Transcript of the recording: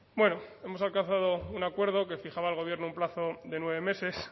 bueno hemos alcanzado un acuerdo que fijaba el gobierno un plazo de nueve meses